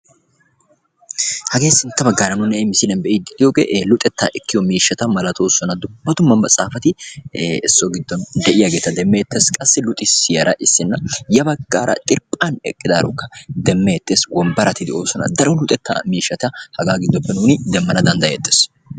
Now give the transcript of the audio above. hage luxxetta ekkiyo mishshatta luxisiyarraka xirphani eqada beetawusu ha sohuwanikka daro luxxetta maxxafa demanawu dandayettessi.